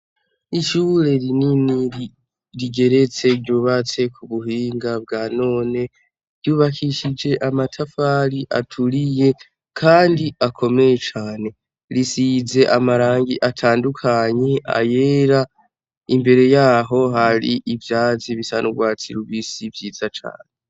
Ishure rinini rigeretse ryubatse ku buhinga bwa none. Ryubakishije amatafari aturiye kandi akomeye cane. Risize amarangi atandukanye; ayera, imbere yaho hari ivyatsi bisa n'urwatsi rubisi vyiza cane.